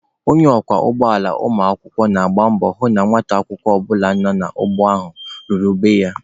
Onye ọkwọ ụgbọala ụmụakwụkwọ na-agba mbọ hụ na nwata akwụkwọ ọbụla nọ n'ụgbọ ala ahụ laluru be ya.